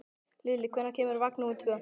Lilli, hvenær kemur vagn númer tvö?